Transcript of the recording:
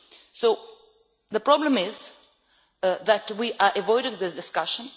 So the problem is that we avoided this discussion.